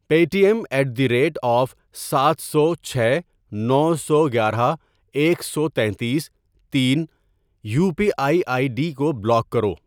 Pay T M at the at the rate of سات سو ، چھ ، نو سو گیارہ ، ایک سو تینتیس ، تین ، U P I I D کو بلاک کرو۔